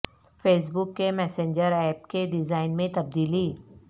face بک کے messenger app کے design میں تبدیلی